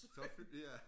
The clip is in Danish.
Så fik vi ja